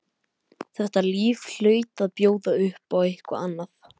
Þetta líf hlaut að bjóða upp á eitthvað annað.